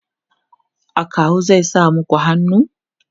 akawu zai sa maku hannu?